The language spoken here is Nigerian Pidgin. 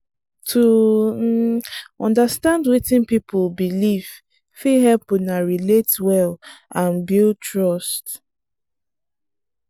to understand wetin person believe fit help una relate well and build trust.